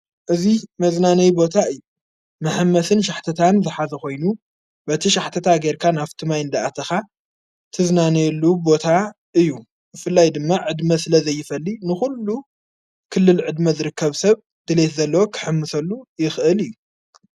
እዙይ መዝናነይ ቦታ እዩ መሓመስን ሻሕተታን ዝኃዘ ኾይኑ በቲ ሻሕተታ ጌርካ ኣፍትማይ እንደኣተኻ ትዝናነየሉ ቦታ እዩ ብፍላይ ድማ ዕድመ ስለ ዘይፈሊ ንዂሉ ክልልዕድመ ዝሪከብ ሰብ ድልት ዘለወ ኽሕምሰሉ ይኽእል እዩ።